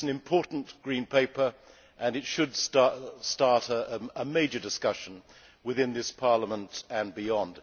It is an important Green Paper and it should start a major discussion within this Parliament and beyond.